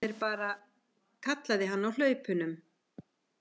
Það er bara, kallaði hann á hlaupunum.